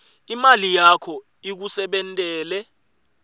imali yakho ikusebentele